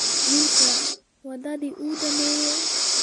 Wiilkii wadadii wuu dhameeyay